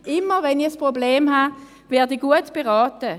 Immer wenn ich ein Problem habe, werde ich gut beraten.